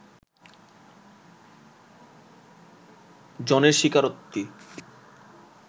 জনের স্বীকারোক্তি